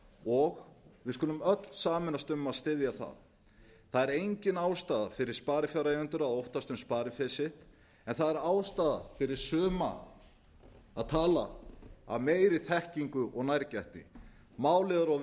og við skulum öll sameinast um að styðja það það er engin ástæða fyrir sparifjáreigendur að óttast um spariféð sitt en það er ástæða fyrir suma að tala af meiri þekkingu og nærgætni málið er of